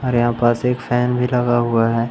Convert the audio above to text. और यहां पास एक फैन भी लगा हुआ है।